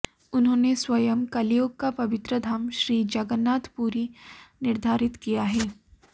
उन्होंने स्वयं कलियुग का पवित्रधाम श्री जगन्नाथपुरी निर्धारित किया है